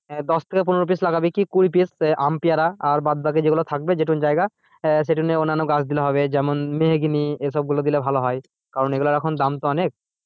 দশ থেকে পনেরো পিস লাগাবি কি কুড়ি পিস আম পেয়ারা আর বাদ বাকি যেগুলো থাকবে যেটুকুন জায়গা আহ সেইটুকুন এ অন্যান্য গাছ দিলে হবে যেমন মেহগিনি এসব গুলো দিলে ভালো হয়। কারণ এগুলার এখন দাম তো অনেক,